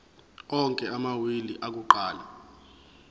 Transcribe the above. onke amawili akuqala